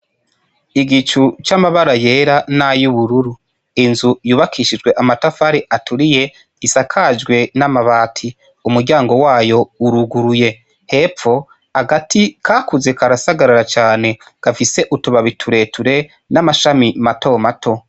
igicu c'amabara yera nayu bururu inzu yubakishijwe amatafari aturiye isakajwe n'amabati umuryango wayo uruguruye hepfo agati kakuze karasagarara cane gafise utubabi tureture n'amashami mato mato.